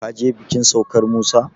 ka je bikin saukar Musa?